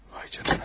Vay canına.